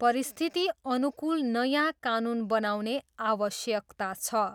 परिस्थिति अनुकूल नयाँ कानुन बनाउने आवश्यकता छ।